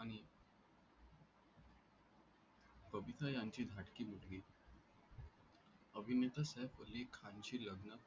बबिता यांची धाकटी मुलगी अभिनेता सैफ अली खान शी लग्न